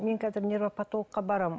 мен қазір невропотологқа барамын